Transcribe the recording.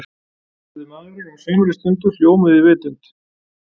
spurði maðurinn og á samri stundu hljómuðu í vitund